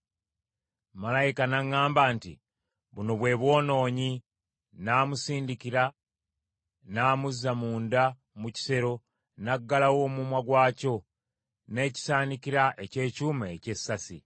Malayika n’aŋŋamba nti, “Buno bwe bwonoonyi.” N’amusindika n’amuzza munda mu kisero, n’aggalawo omumwa gwakyo n’ekisaanikira eky’ekyuma eky’essasi.